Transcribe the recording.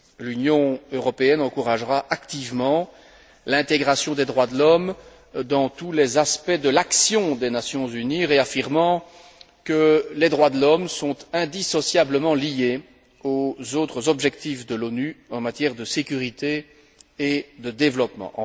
L'Union européenne encouragera activement l'intégration des droits de l'homme dans tous les aspects de l'action des Nations unies, réaffirmant que les droits de l'homme sont indissociablement liés aux autres objectifs de l'ONU en matière de sécurité et de développement.